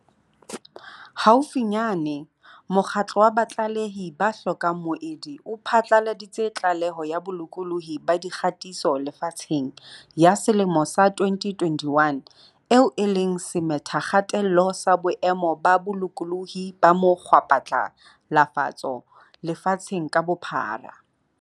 Haufinyane, mokgatlo wa Batlalehi ba hlokang Moedi o phatlaladitse Tlaleho ya Bolokolohi ba Dikgatiso Lefatsheng ya selemo sa 2021, eo e leng semethakgatello sa boemo ba bolokolohi ba mo kgwaphatlalatso lefatsheng ka bophara.